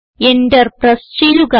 enter press ചെയ്യുക